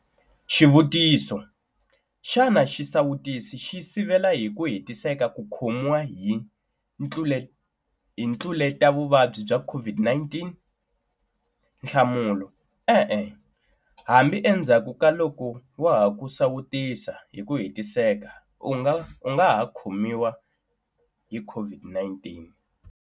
Xivutiso- Xana xisawutisi xi sivela hi ku hetiseka ku khomiwa hi ntluletavuvabyi bya COVID-19? Nhlamulo- E-e. Hambi endzhaku ka loko wa ha ku sawutisiwa hi ku hetiseka u nga ha khomiwa hi COVID19.